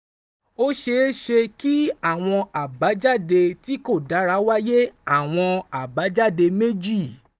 ó ṣeé ṣe kí àwọn àbájáde tí kò dára wáyé: àwọn àbájáde méjì